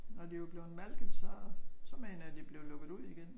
Når de var blevet malket så mener jeg de blev lukket ud igen